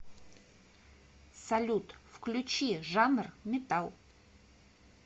салют включи жанр метал